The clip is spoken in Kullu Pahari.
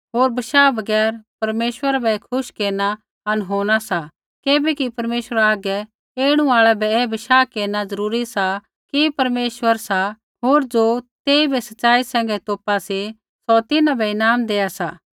होर बशाह बगैर परमेश्वरा बै खुश केरना अनहोना सा किबैकि परमेश्वरा हागै ऐणु आल़ै बै ऐ बशाह केरना ज़रूरी सा कि परमेश्वर सा होर ज़ो तेइबै सच़ाई सैंघै तोपा सी सौ तिन्हां बै ईनाम देआ सा